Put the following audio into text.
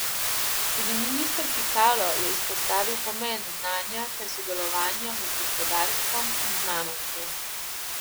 Tudi minister Pikalo je izpostavil pomen znanja ter sodelovanja med gospodarstvom in znanostjo.